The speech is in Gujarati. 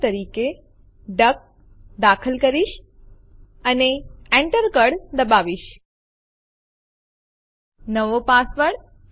અહીં ફરીથી આપણે ઉપર સ્ક્રોલ કરીશું અને તમે જોઈ શકો છો ડેમો1 ફાઈલ અહીં છે